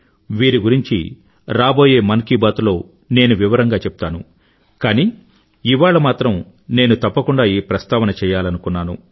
వీరి గురించి రాబోయే మన్ కీ బాత్ లో నేను వివరంగా చెప్తాను కానీ ఇవాళ మాత్రం నేను తప్పకుండా ఈ ప్రస్తావన చెయ్యలనుకున్నాను